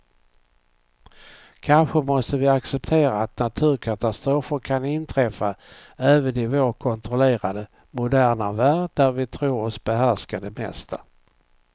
Kanske måste vi acceptera att naturkatastrofer kan inträffa även i vår kontrollerade, moderna värld där vi tror oss behärska det mesta.